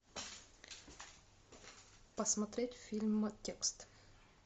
посмотреть фильм текст